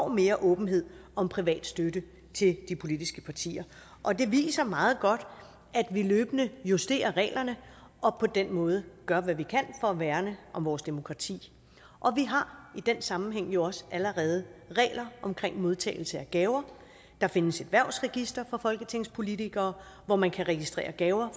mere åbenhed om privat støtte til de politiske partier og det viser meget godt at vi løbende justerer reglerne og på den måde gør hvad vi kan for at værne om vores demokrati og vi har i den sammenhæng jo også allerede regler for modtagelse af gaver der findes et hvervregister for folketingspolitikere hvor man kan registrere gaver